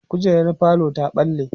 kujerar falo ta ɓalle